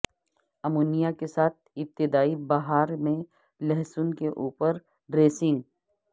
ammonia کے ساتھ ابتدائی بہار میں لہسن کے اوپر ڈریسنگ